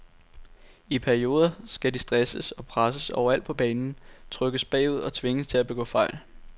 I perioder skal de stresses og presses overalt på banen, trykkes bagud og tvinges til at begå fejl.